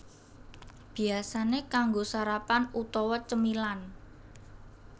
Biyasané kanggo sarapan utawa cemilan